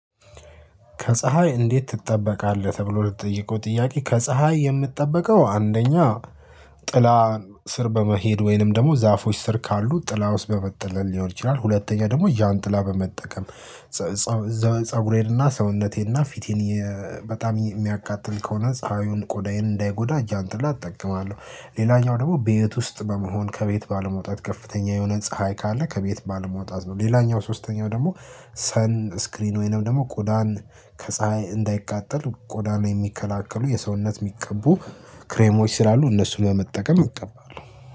ከፀሀይ እንዴት ትጠበቃለህ? ተብሎ ለተጠየቀው ጥያቄ ከፀሀይ የምጠበቀው አንደኛ ጥላ ስር በመሄድ ወይንም ደግሞ ዛፎች ስር ካሉ ጥላ ውስጥ በመጠለል ሊሆን ይችላል። ሁለተኛ ደግሞ ዣን ጥላ በመጠቀም ፀጉሬንና ሰውነቴንና ፊቴን በጣም የሚያቃጥል ከሆነ ፀሀዩን ቆዳዬን እንዳይጎዳ እጃን ጥላ እጠቀማለሁ። ሌላኛው ደግሞ ቤት ውስጥ በመሆን ከቤት ባለመውጣት ከፍተኛ የሆነ ፀሀይ ካለ ከቤት ባለመውጣት ነው። ሌላኛው ሶስተኛው ደግሞ ሰን ስክሪን ወይንም ደግሞ ቆዳን ከፀሀይ እንዳይቃጠል ቆዳን የሚከላከሉ የሰውነት የሚቀቡ ክሬሞች ስላሉ እነሱን በመጠቀም እቀባለሁ።